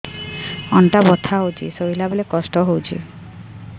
ଅଣ୍ଟା ବଥା ହଉଛି ଶୋଇଲା ବେଳେ କଷ୍ଟ ହଉଛି